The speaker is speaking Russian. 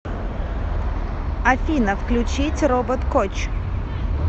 афина включить робот коч